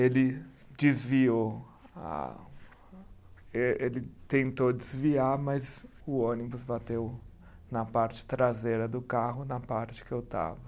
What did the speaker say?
Ele desviou a, ele tentou desviar, mas o ônibus bateu na parte traseira do carro, na parte que eu estava.